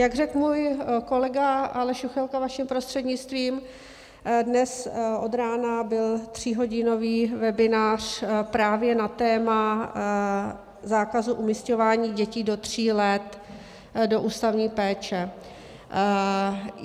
Jak řekl můj kolega Aleš Juchelka, vaším prostřednictvím, dnes od rána byl tříhodinový webinář právě na téma zákazu umísťování dětí do tří let do ústavní péče.